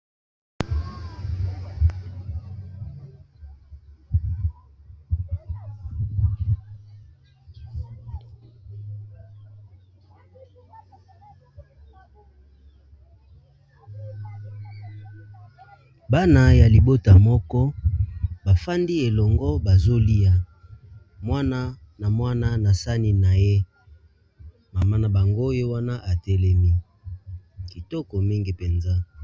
bana ya libota moko bafandi elongo bazolia mwana na mwana na sani na ye mama na bango oyo wana atelemi kitoko mingi mpenza